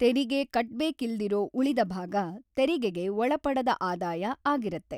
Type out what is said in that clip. ತೆರಿಗೆ ಕಟ್ಬೇಕಿಲ್ದಿರೋ ಉಳಿದ ಭಾಗ ತೆರಿಗೆಗೆ ಒಳಪಡದ ಆದಾಯ ಆಗಿರತ್ತೆ.